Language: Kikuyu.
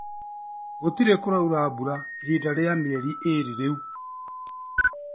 Gũtire kũraura mbura kwa ihinda rĩa mieri ĩrĩ rĩu